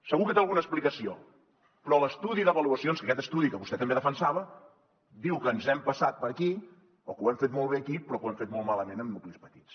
segur que té alguna explicació però l’estudi d’avaluacions aquest estudi que vostè també defensava diu que ho hem fet molt bé aquí però que ho hem fet molt malament en nuclis petits